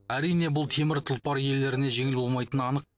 әрине бұл темір тұлпар иелеріне жеңіл болмайтыны анық